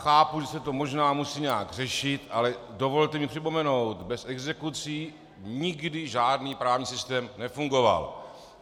Chápu, že se to možná musí nějak řešit, ale dovolte mi připomenout - bez exekucí nikdy žádný právní systém nefungoval.